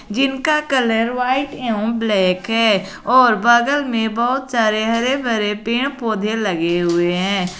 जिनका colour white एवं black है और बगल में बहुत सारे हरे भरे पेड़ पौधे लगे हुए हैं।